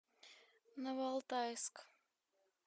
новоалтайск